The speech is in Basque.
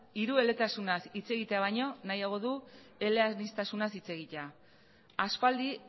hirueletasunaz hitz egitea baino nahiago du eleaniztasunez hitz egitea aspaldi